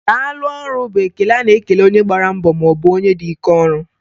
Daalụ ọrụ,' bụ ekele a na-ekele onye gbara mbọ maọbụ onye dị ike ọrụ